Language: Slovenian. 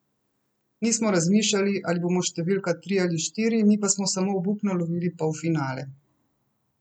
Nismo razmišljali, ali bomo številka tri ali štiri, mi smo samo obupno lovili polfinale.